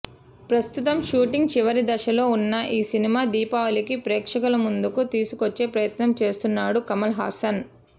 ప్రస్తుతం షూటింగ్ చివరి దశలో ఉన్న ఈ సినిమా దీపావళికి ప్రేక్షకుల ముందుకు తీసుకొచ్చే ప్రయత్నం చేస్తున్నాడు కమల్ హసన్